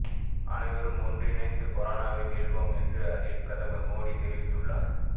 அனைவரும் ஒன்றிணைந்து கொரோனாவை வெல்வோம் என்று அதில் பிரதமர் மோடி தெரிவித்துள்ளார்